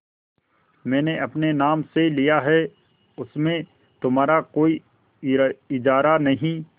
मैंने अपने नाम से लिया है उसमें तुम्हारा कोई इजारा नहीं